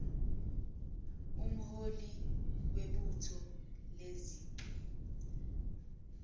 umholi webutho lezichwe